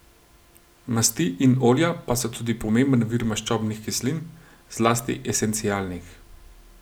Masti in olja pa so tudi pomemben vir maščobnih kislin, zlasti esencialnih.